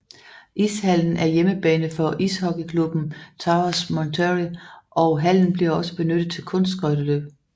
Ishallen er hjemmebane for ishockeyklubben Toros Monterrey og hallen bliver også benyttet til Kunstskøjteløb